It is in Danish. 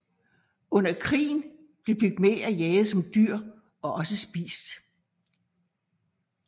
Under krigen blev pygmæer jaget som dyr og også spist